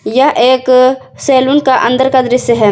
यह एक सैलून का अंदर का दृश्य है।